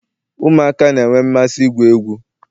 ụmụaka na-enwe mmasị igwu egwu